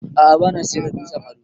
A'a bana siyar da dutsen ado.